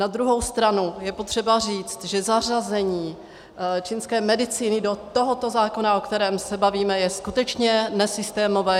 Na druhou stranu je potřeba říct, že zařazení čínské medicíny do tohoto zákona, o kterém se bavíme, je skutečně nesystémové.